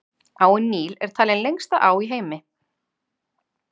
Áin Níl er talin lengsta á í heimi.